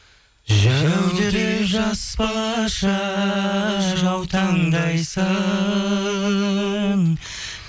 жәудіреп жас балаша жаутаңдайсың